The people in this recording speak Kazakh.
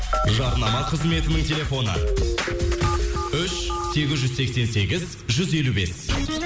жарнама қызметінің телефны үш сегіз жүз сексен сегіз жүз елу бес